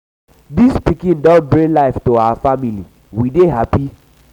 dis pikin um don um bring life to we family we dey hapi.